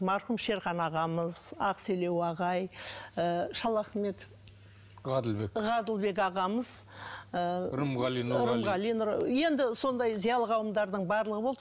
марқұм шерхан ағамыз ақселеу ағай ы шалахметов ғаділбек ғаділбек ағамыз ыыы рымғали нұрғалиев рымғали енді сондай зиялы қауымдардың барлығы болды